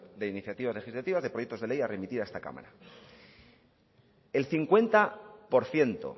de iniciativas legislativas de proyectos de ley a remitir a esta cámara el cincuenta por ciento